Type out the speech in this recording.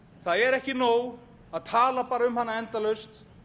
það er ekki nóg að tala bara um hana endalaust